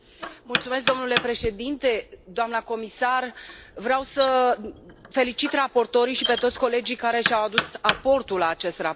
Domnule președinte, doamnă comisar, vreau să felicit raportorii și pe toți colegii care și au adus aportul la acest raport.